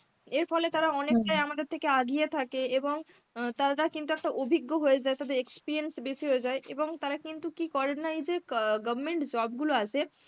এর ফলে তারা অনেকটাই আমাদের থেকে আগিয়ে থাকে এবং অ্যাঁ তারা তা কিন্তু একটা অভিজ্ঞ হয়ে যায়, তাদের experience বেশি হয়ে যায় এবং তারা কিন্তু কী করে না এই যে ক government job গুলো আছে